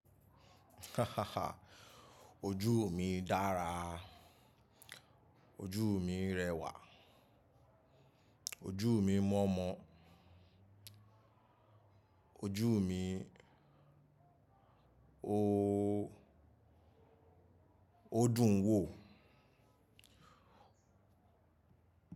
Ojú mi dára, ojú mi rẹwà, ojú mi mọ̀ọ́mọ̀, ojú mi ooo, ó dùn wò.